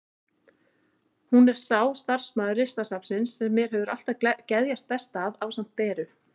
Hún er sá starfsmaður Listasafnsins sem mér hefur alltaf geðjast best að, ásamt Beru.